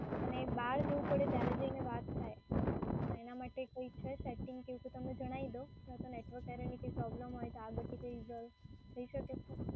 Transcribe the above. અને બહાર જઉં પડે ત્યારે જ જઈને વાત થાય. તો એના માટે કોઈ છે સેટિંગ કે એવું કંઈ તો તમે જણાઈ દો. નહીં તો network error ની કોઈ પ્રોબ્લેમ હોય તો આગળથી તે resolve થઈ શકે છે?